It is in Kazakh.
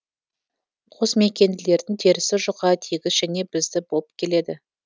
қосмекенділердің терісі жұқа тегіс және бізді болып келеді